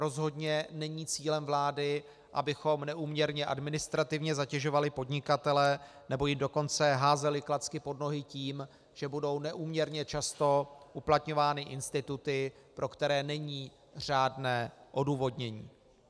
Rozhodně není cílem vlády, abychom neúměrně administrativně zatěžovali podnikatele, nebo jim dokonce házeli klacky pod nohy tím, že budou neúměrně často uplatňovány instituty, pro které není řádné odůvodnění.